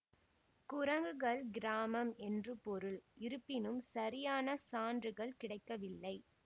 குரங்குகள் கிராமம் என்று பொருள் இருப்பினும் சரியான சான்றுகள் கிடைக்கவில்லை